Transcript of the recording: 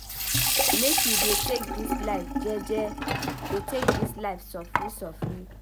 Make you dey take dis life jeje dey take evertin sofri sofri.